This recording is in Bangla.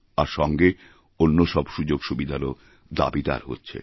আর সঙ্গে অন্য সব সুযোগসুবিধারওদাবীদার হচ্ছে